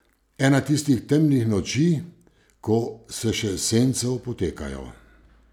Ena tistih temnih noči, ko se še sence opotekajo.